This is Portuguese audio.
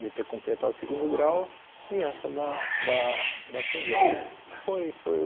de ter completado o segundo grau e essa da da da prisão. Foi foi